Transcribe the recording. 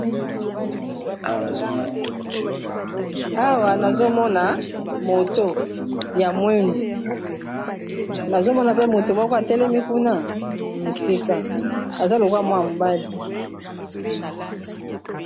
awa nazomona moto ya mwendo nazomona pe moto moko atele mikuna misika aza lokwa mwa mobale